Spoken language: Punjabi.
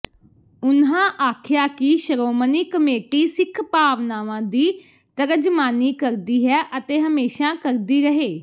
ਉਨ੍ਹਾਂ ਆਖਿਆ ਕਿ ਸ਼ਰੋਮਣੀ ਕਮੇਟੀ ਸਿੱਖ ਭਾਵਨਾਵਾਂ ਦੀ ਤਰਜਮਾਨੀ ਕਰਦੀ ਹੈ ਅਤੇ ਹਮੇਸ਼ਾ ਕਰਦੀ ਰਹੇ